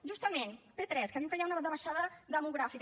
justament p3 que diu que hi ha una davallada demogràfica